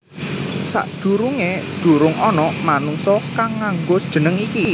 Sadurungé durung ana manungsa kang nganggo jeneng iki